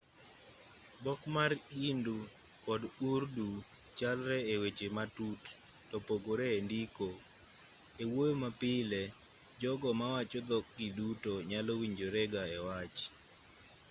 dhok mar hindi kod urdu chalre eweche matut topogore endiko ewuoyo mapile jogo mawacho dhok gi duto nyalo winjorega ewach